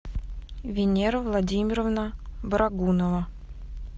венера владимировна барагунова